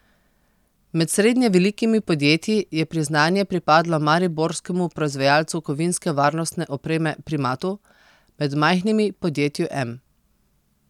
Med srednje velikimi podjetji je priznanje pripadlo mariborskemu proizvajalcu kovinske varnostne opreme Primatu, med majhnimi podjetju Em.